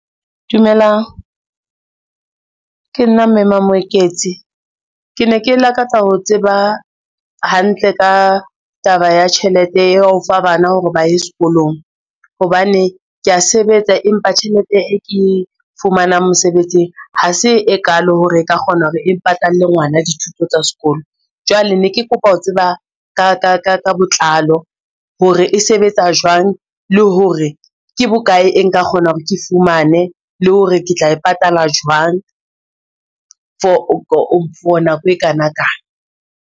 Dumelang, ke nna mme maMoeketsi. Ke ne ke lakatsa ho tseba hantle ka taba ya tjhelete ya ho fa bana hore ba ye sekolong hobane kea sebetsa, empa tjhelete e ke fumanang mosebetsing ha se e kalo hore e ka kgona hore e patalle ngwana dithuto tsa sekolo. Jwale ne ke kopa ho tseba ka botlalo hore e sebetsa jwang, le hore ke bokae e nka kgona hore ke fumane, le hore ke tla e patala jwang for nako e kana kang.